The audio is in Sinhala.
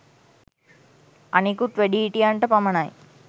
අනෙකුත් වැඩිහිටියන්ට පමණයි